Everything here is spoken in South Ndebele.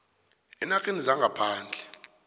eenarheni zangaphandle